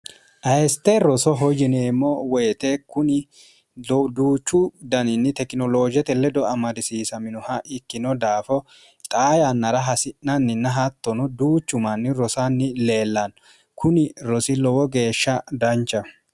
ayeste roso hoyineemmo woyite kuni duuchu daniinni tekinoloojete ledo amadisiisaminoha ikkino daafo xaa yannara hasi'nanninna haattono duuchu manni rosanni leellanno kuni rosi lowo geeshsha dancha